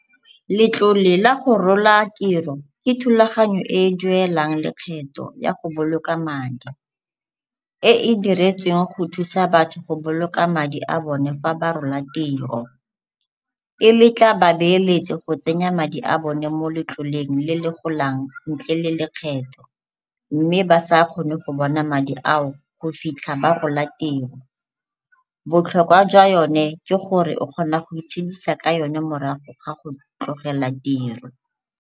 Letlole la go rola tiro ke thulagano e e duelang lekgetho ya go boloka madi e e diretsweng go thusa batho go boloka madi a bone fa ba rola tiro. E letla babeeletsi go tsenya madi a bone mo letloleng le le golang ntle le lekgetho mme ba sa kgone go bona madi ao go fitlha ba rola tiro. Botlhokwa jwa yone ke gore o kgona go itshedisa ka yone morago ga go tlogela tiro.